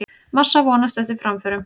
Massa vonast eftir framförum